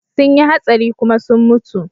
Sun yi hatsari kuma sun mutu.